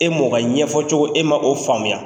E m'o ka ɲɛfɔcogo e ma o faamuya.